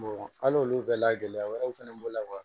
hali olu bɛɛ la gɛlɛya wɛrɛw fɛnɛ b'o la wa